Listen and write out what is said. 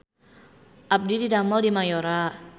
Abdi didamel di Mayora